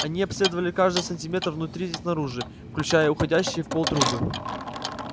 они обследовали каждый сантиметр внутри и снаружи включая уходящие в пол трубы